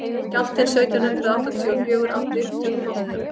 skjálftinn sautján hundrað áttatíu og fjögur átti upptök í holtum